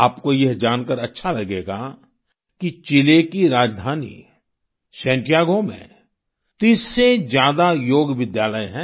आपको यह जानकार अच्छा लगेगा कि चिले की राजधानी सैंटियागो में 30 से ज्यादा योग विद्यालय हैं